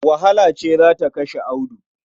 Wahala ce za ta kashe Audu.